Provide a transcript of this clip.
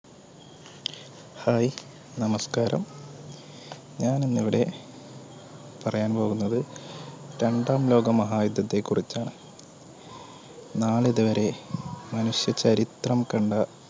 Hi നമസ്കാരം ഞാനിന്നിവിടെ പറയാൻ പോകുന്നത് രണ്ടാം ലോകമഹായുദ്ധത്തെ കുറിച്ചാണ് നാളിതുവരെ മനുഷ്യചരിത്രം കണ്ട